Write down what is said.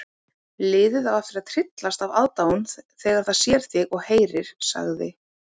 Liðið á eftir að tryllast af aðdáun þegar það sér þig og heyrir sagði